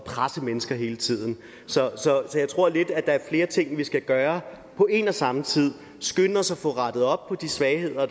presse mennesker hele tiden så jeg tror lidt at der er flere ting vi skal gøre på en og samme tid skynde os at få rettet op på svagheder